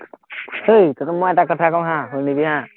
ঐ তঁহতক মই এটা কথা কওঁ হা, শুনিবি হা,